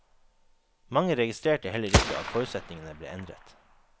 Mange registrerte heller ikke at forutsetningene ble endret.